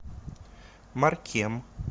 маркем